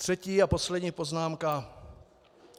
Třetí a poslední poznámka.